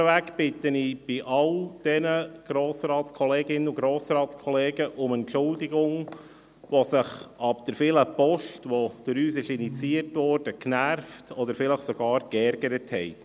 Vorweg bitte ich all jene Grossrätinnen und Grossräte um Entschuldigung, welche sich ab der vielen Post der Gemeinden, die durch uns initiiert worden ist, genervt oder vielleicht sogar geärgert haben.